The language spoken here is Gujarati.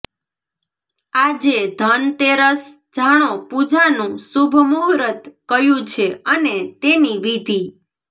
આજે ધનતેરસઃ જાણો પૂજાનું શુભ મુહૂર્ત કયું છે અને તેની વિધી